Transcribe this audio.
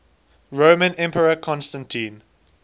roman emperor constantine